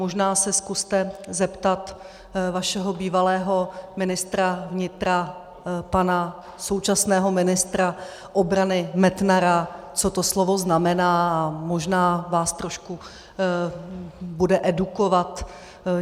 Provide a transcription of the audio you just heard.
Možná se zkuste zeptat vašeho bývalého ministra vnitra, pana současného ministra obrany Metnara, co to slovo znamená, a možná vás trošku bude edukovat.